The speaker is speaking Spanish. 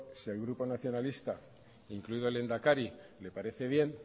si al grupo nacionalista incluido el lehendakari le parece bien